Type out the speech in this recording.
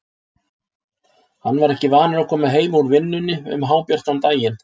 Hann var ekki vanur að koma heim úr vinnunni um hábjartan daginn.